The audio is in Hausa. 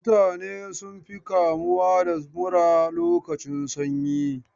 Mutane sun fi kamuwa da mura lokacin sanyi.